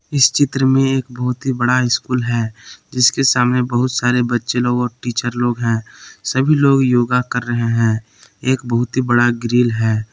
इस चित्र में एक बहुत ही बड़ा स्कूल है जिसके सामने बहुत सारे बच्चे लोग और टीचर लोग हैं सभी लोग योगा कर रहे हैं एक बहुत ही बड़ा ग्रिल है।